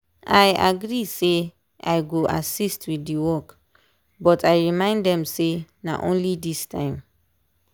i agree say i go assist with the work but i remind them say na only this time.